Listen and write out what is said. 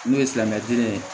N'o ye silamɛden ye